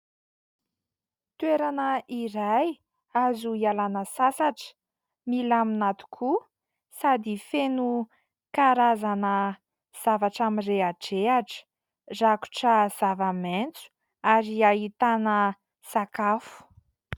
Toerana iray azo ialana sasatra milamina tokoa sasy feno. karazana zavatra mirehadrehatra rakotra zava-maitso ary ahitana sakafo.